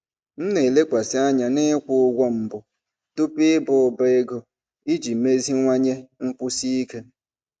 M na-elekwasị anya n'ịkwụ ụgwọ mbụ tupu ịba ụba ego iji meziwanye nkwụsi ike.